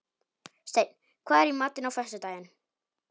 Steinn, hvað er í matinn á föstudaginn?